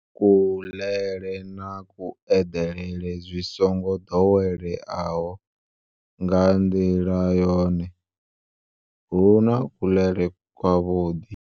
Kuḽele na kueḓelele zwi songo ḓoweleaho.